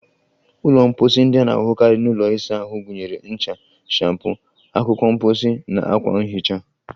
Ụlọ mposi ndị a na-ahụkarị n'ụlọ ịsa ahụ gụnyere ncha, shampoo, akwụkwọ mposi, na akwa nhicha.